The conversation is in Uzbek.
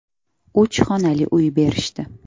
Uch xonali uy berishdi.